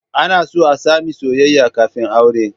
Ana so a sami soyayya kafin aure